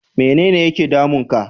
Mene ne yake damun ka?